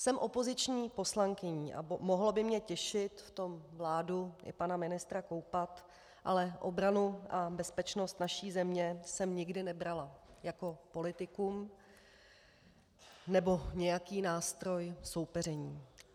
Jsem opoziční poslankyní a mohlo by mě těšit v tom vládu i pana ministra koupat, ale obranu a bezpečnost naší země jsem nikdy nebrala jako politikum nebo nějaký nástroj soupeření.